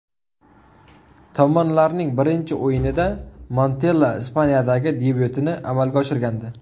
Tomonlarning birinchi o‘yinida Montella Ispaniyadagi debyutini amalga oshirgandi.